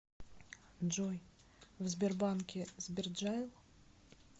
джой в сбербанке сберджайл